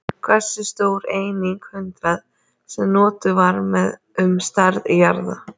Hversu stór er einingin hundrað, sem notuð var um stærð jarða?